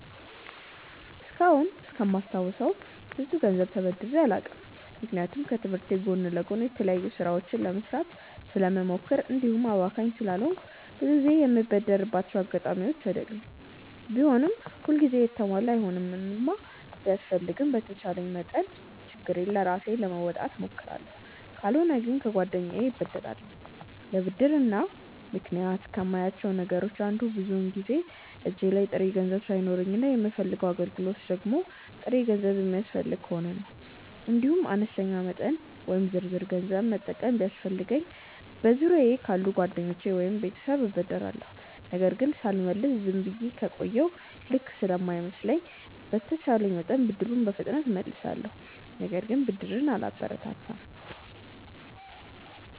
እስካሁን እስከማስታውሰው ብዙ ገንዘብ ተበድሬ አላውቅም። ምክንያቱም ከትምህርቴ ጎን ለጎን የተለያዩ ስራዎችን ለመስራት ስለምሞክር እንዲሁም አባካኝ ስላልሆንኩ ብዙ ጊዜ የምበደርባቸው አጋጣሚዎች አይኖሩም። ቢሆንም ሁል ጊዜ የተሟላ አይሆንምና ቢያስፈልገኝም በተቻለኝ መጠን ችግሬን ራሴ ለመወጣት እሞክራለሁ። ካልሆነ ግን ከጓደኛዬ እበደራለሁ። ለብድር እንደ ምክንያት ከማያቸው ነገሮች አንዱ ብዙውን ጊዜ እጄ ላይ ጥሬ ገንዘብ ሳይኖረኝ እና የምፈልገው አገልግሎት ደግሞ ጥሬ ገንዘብ የሚፈልግ ከሆነ ነው። እንዲሁም አነስተኛ መጠን ወይም ዝርዝር ገንዘብ መጠቀም ቢያስፈልገኝ በዙሪያየ ካሉ ጓደኞቼ ወይም ቤተሰብ እበደራለሁ። ነገር ግን ሳልመልስ ዝም ብዬ ከቆየሁ ልክ ስለማይመስለኝ በተቼለኝ መጠን ብድሩን በፍጥነት እመልሳለሁ። ነገር ግን ብድርን አላበረታታም።